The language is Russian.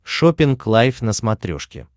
шоппинг лайф на смотрешке